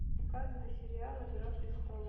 показывай сериал игра престолов